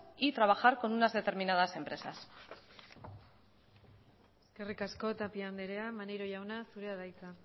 y trabajar con unas determinadas empresas eskerrik asko tapia anderea maneiro jauna zurea da hitza